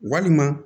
Walima